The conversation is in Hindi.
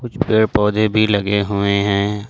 कुछ पेड़ पौधे भी लगे हुए हैं।